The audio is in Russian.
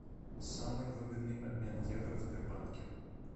самый выгодный обмен евро в сбербанке